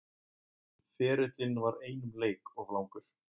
Ferillinn var einum leik of langur